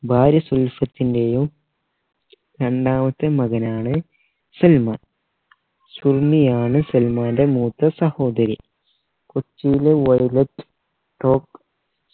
ഭാര്യ സുൽഫത്തിൻറെയും രണ്ടാമത്തെ മകനാണ് സൽമാൻ സുറുമിയാണ് സൽമാൻറെ മൂത്ത സഹോദരി കൊച്ചിയിലെ